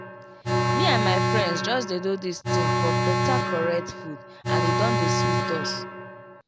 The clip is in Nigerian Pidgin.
me and my friends just dey do this tin for beta correct food and e don dey sweet us